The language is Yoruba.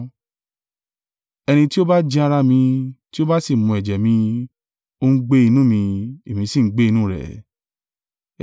Ẹni tí ó bá jẹ ara mi, tí ó bá sì mu ẹ̀jẹ̀ mi, ó ń gbé inú mi, èmi sì ń gbé inú rẹ̀.